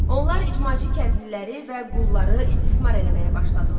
Onlar icmaçı kəndliləri və qulları istismar eləməyə başladılar.